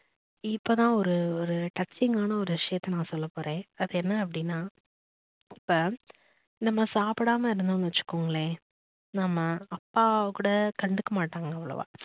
இப்பதான் ஒரு ஒரு touching கான ஒரு விஷயத்தை நான் சொல்ல போறேன் அது என்ன அப்படின்னா இப்ப நம்ம சாப்பிடாம இருந்தோம்னு வச்சுக்கோங்களேன் நம்ம அப்பா கூட கண்டுக்க மாட்டாங்க அவ்ளோவா